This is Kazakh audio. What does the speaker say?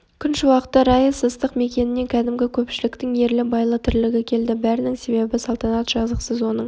күн шуақты райыс ыстық мекенінен кәдімгі көпшіліктің ерлі-байлы тірлігі келді бәрінің себебі салтанат жазықсыз оның